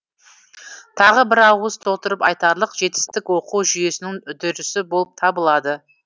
тағы бір ауыз толтырып айтарлық жетістік оқу жүйесінің үдерісі болып табылады